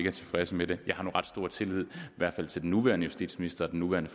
er tilfredse med dem jeg har nu ret stor tillid i hvert fald til den nuværende justitsminister og den nuværende